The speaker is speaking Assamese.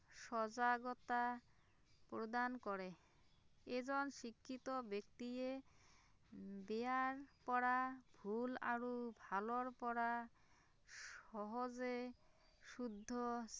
সজাগতা প্ৰদান কৰে, এজন শিক্ষিত ব্যক্তিয়ে বেয়াৰ পৰা ভূল আৰু ভালৰ পৰা সহজে শুদ্ধ